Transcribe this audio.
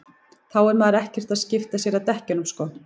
þá er maður ekkert að skipta sér að dekkjunum sko